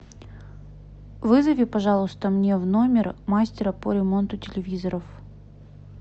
вызови пожалуйста мне в номер мастера по ремонту телевизоров